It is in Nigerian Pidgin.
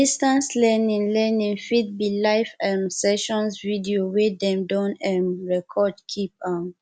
distance learning learning fit be live um sessions videos wey dem don um record keep um